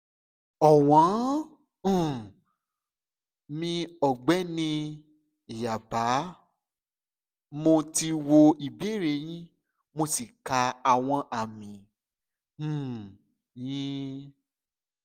ọ̀wọ́n um mi ọ̀gbẹ́ni/yáàbá mo ti wo ìbéèrè yín mo sì ka àwọn àmì um yín